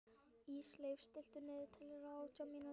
Ísleif, stilltu niðurteljara á átján mínútur.